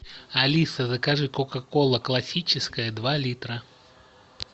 алиса закажи кока кола классическая два литра